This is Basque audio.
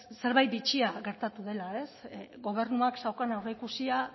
zerbait bitxia gertatu dela gobernuak zeukan aurreikusia